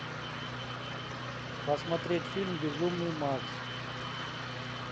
посмотреть фильм безумный макс